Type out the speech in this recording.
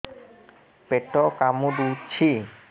ପେଟ କାମୁଡୁଛି